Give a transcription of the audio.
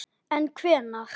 En hvenær?